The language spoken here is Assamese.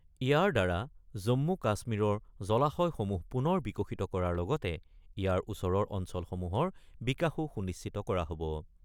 ইয়াৰদ্বাৰা জন্মু-কাশ্মীৰৰ জলাশয়সমূহ পুনৰ বিকশিত কৰাৰ লগতে ইয়াৰ ওচৰৰ অঞ্চলসমূহৰ বিকাশো সুনিশ্চিত কৰা হ'ব।